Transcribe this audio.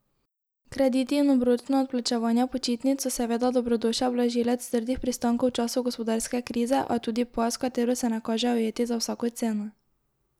Krediti in obročna odplačevanja počitnic so seveda dobrodošel blažilec trdih pristankov v času gospodarske krize, a tudi past, v katero se ne kaže ujeti za vsako ceno.